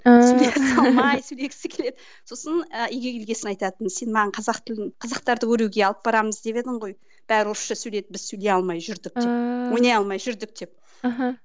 ііі сосын ы үйге келген соң айтатын сен маған қазақ тілін қазақтарды көруге алып барамыз деп едің ғой бәрі орысша сөйлейді біз сөйлей алмай жүрдік деп ааа ойнай алмай жүрдік деп мхм